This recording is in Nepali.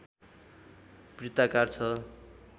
वृत्ताकार छ